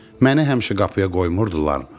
Məni həmişə qapıya qoymurdularmı?